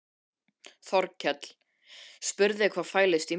Þórkell spurði hvað fælist í misnotkun.